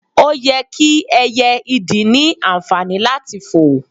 oye ki ẹyẹ ìdì ni anfani lati foò